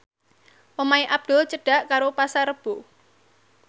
omahe Abdul cedhak karo Pasar Rebo